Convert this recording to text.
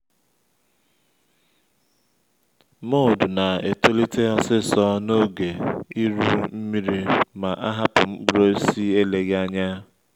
mould na-etolite osisor n’oge iru nmiri ma a hapụ mkpụrụ osisi eleghị anya